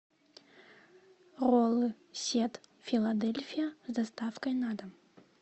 роллы сет филадельфия с доставкой на дом